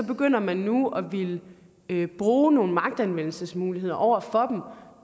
begynder man nu at ville bruge nogle magtanvendelsesmidler over for